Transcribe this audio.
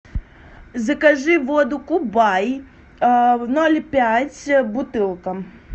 закажи воду кубай ноль пять бутылка